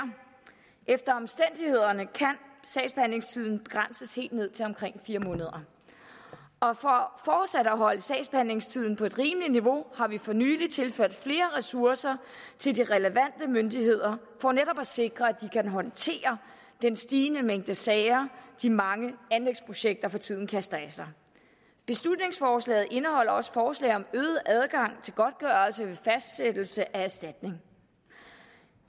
efter omstændighederne kan sagsbehandlingstiden begrænses helt ned til omkring fire måneder og for fortsat at holde sagsbehandlingstiden på et rimeligt niveau har vi for nylig tilført flere ressourcer til de relevante myndigheder for netop at sikre at de kan håndtere den stigende mængde sager de mange anlægsprojekter for tiden kaster af sig beslutningsforslaget indeholder også forslag om øget adgang til godtgørelse ved fastsættelse af erstatning